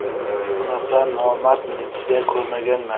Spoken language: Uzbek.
Bunaqa nomard militsiya ko‘rmaganman.